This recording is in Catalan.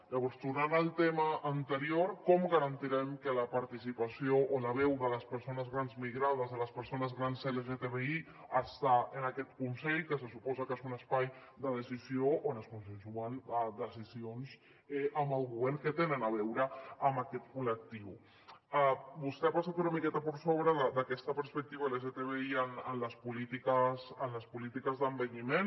llavors tornant al tema anterior com garantirem que la participació o la veu de les persones grans migrades de les persones grans lgtbi està en aquest consell que se suposa que és un espai de decisió on es consensuen decisions amb el govern que tenen a veure amb aquest col·lectiu vostè ha passat una miqueta per sobre d’aquesta perspectiva lgtbi en les polítiques d’envelliment